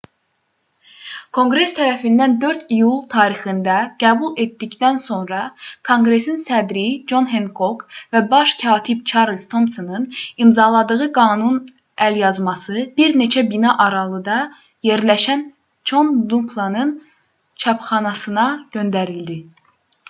konqres tərəfindən 4 iyul tarixində qəbul edildikdən sonra konqresin sədri con henkok və baş katib çarlz tomsonun imzaladığı qanunun əlyazması bir neçə bina aralıda yerləşən con dunlapın çapxanasına göndərildi